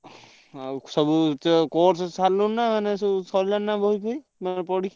ଆଉ ସବୁ ତ course ସାରିଲୁଣି ନାଁ ସରିଲାଣି ନାଁ ବହି ଫହି ମାନେ ପଢିକି?